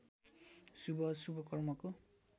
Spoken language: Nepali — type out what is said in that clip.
शुभ अशुभ कर्मको